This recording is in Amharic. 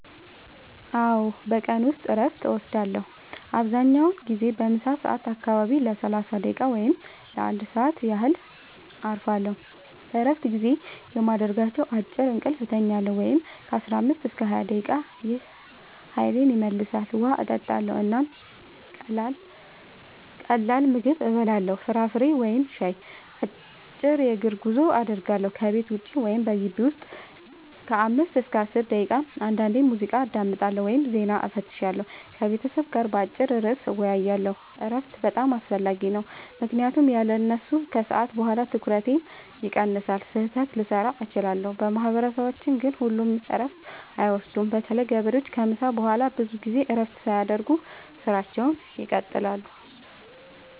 አዎ፣ በቀን ውስጥ እረፍት እወስዳለሁ። አብዛኛውን ጊዜ በምሳ ሰዓት አካባቢ ለ30 ደቂቃ ወይም ለ1 ሰዓት ያህል እረፋለሁ። በእረፍት ጊዜዬ የማደርጋቸው፦ · አጭር እንቅልፍ እተኛለሁ (15-20 ደቂቃ) – ይህ ኃይሌን ይመልሳል። · ውሃ እጠጣለሁ እና ቀላል ምግብ እበላለሁ (ፍራፍሬ ወይም ሻይ)። · አጭር የእግር ጉዞ አደርጋለሁ – ከቤት ውጭ ወይም በግቢው ውስጥ ለ5-10 ደቂቃ። · አንዳንዴ ሙዚቃ አዳምጣለሁ ወይም ዜና እፈትሻለሁ። · ከቤተሰብ ጋር በአጭር ርዕስ እወያያለሁ። እረፍት በጣም አስፈላጊ ነው ምክንያቱም ያለሱ ከሰዓት በኋላ ትኩረቴ ይቀንሳል፣ ስህተት ልሠራ እችላለሁ። በማህበረሰባችን ግን ሁሉም እረፍት አይወስዱም – በተለይ ገበሬዎች ከምሳ በኋላ ብዙ ጊዜ እረፍት ሳያደርጉ ሥራቸውን ይቀጥላሉ።